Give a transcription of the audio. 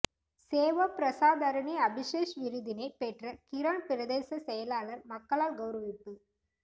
சேவா பிரசாதரனி அபிசேஷ் விருதினை பெற்ற கிரான் பிரதேச செயலாளர் மக்களால் கௌரவிப்பு